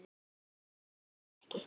En ég get ekki.